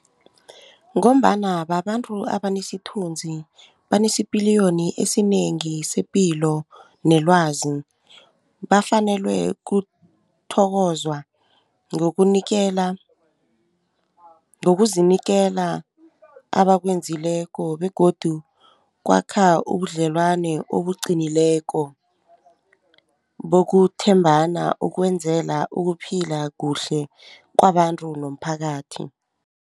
Ngombana babantu abanesithunzi banesipiliyoni esinengi sepilo nelwazi bafanelwe kuthokozwa ngokunikela ngokuzinikela abakwenzileko begodu kwakha ubudlelwane obuqinileko bokuthembana ukwenzela ukuphila kuhle kwabantu nomphakathi.